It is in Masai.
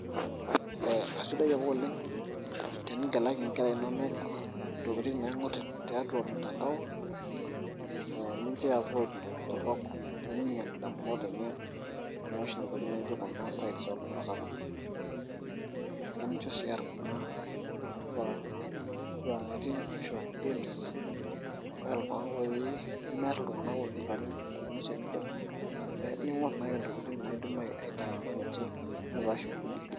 Ee kasidai ake oleng' tenitalaki nkera inonok ntokiting' naing'orr tiatua mtandao ee nincho iavoid intorrok pee miinyial ndamunot enye nepash intokitin nijio kuna sites oltung'anak sapukin nemincho sii eer kuna tokitin nijio games nemeer iltung'anak ootii ilarin amu ees tenebo, ee niing'orr naake ntokitin naidim aiteng'ena ninche nepaash nkulie.